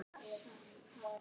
Guð geymi þau saman.